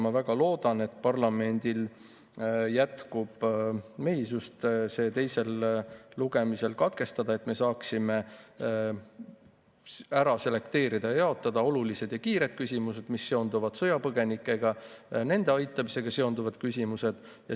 Ma väga loodan, et parlamendil jätkub mehisust see teisel lugemisel katkestada, et me saaksime ära selekteerida ja jaotada olulised ja kiired küsimused, mis seonduvad sõjapõgenikega, nende aitamisega seonduvad küsimused.